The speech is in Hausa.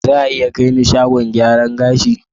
Za a iya kai ni shago gyaran gashi?